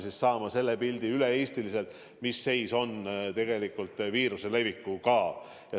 – saama üle-eestilise pildi, mis seis tegelikult viiruse levikul on.